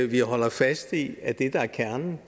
vi holder fast i at det der er kernen